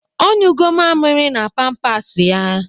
Ọ nyụgọ mamịrị na pampasị ya.